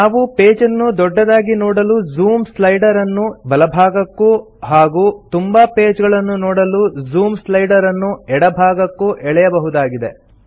ನಾವು ಪೇಜನ್ನು ದೊಡ್ಡದಾಗಿ ನೋಡಲು ಜೂಮ್ ಸ್ಲೈಡರ್ ಅನ್ನು ಬಲಭಾಗಕ್ಕೂ ಹಾಗೂ ತುಂಬಾ ಪೇಜ ಗಳನ್ನು ನೋಡಲು ಜೂಮ್ ಸ್ಲೈಡರ್ ಅನ್ನು ಎಡಭಾಗಕ್ಕೂ ಎಳೆಯಬಹುದಾಗಿದೆ